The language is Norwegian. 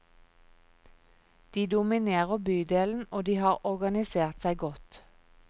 De dominerer bydelen og de har organisert seg godt.